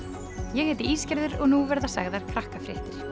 ég heiti og nú verða sagðar Krakkafréttir